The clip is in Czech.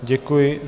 Děkuji.